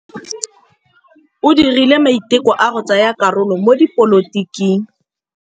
O dirile maitekô a go tsaya karolo mo dipolotiking.